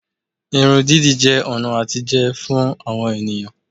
Irun dídì jẹ́ ọ̀nà àtijẹ fún àwọn ènìyàn